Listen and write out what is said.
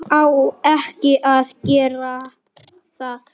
Á ekki að gera það.